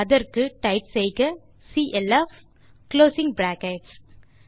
அதற்கு டைப் செய்யலாம் சிஎல்எஃப் பின் குளோசிங் பிராக்கெட்ஸ்